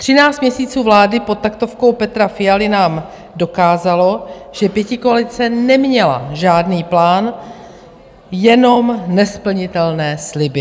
Třináct měsíců vlády pod taktovkou Petra Fialy nám dokázalo, že pětikoalice neměla žádný plán, jenom nesplnitelné sliby.